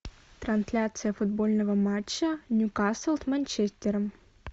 трансляция футбольного матча ньюкасл с манчестером